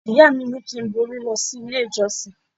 Ìyá mi ní kí n borí lọ sí ilé ìjọsìn.